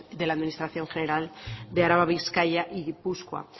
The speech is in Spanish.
de las administración general de araba bizkaia y gipuzkoa